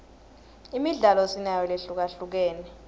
imidlalo sinayo lehlukahlukene